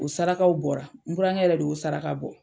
O sarakaw bɔra n burankɛ yɛrɛ de y'o saraka bɔ.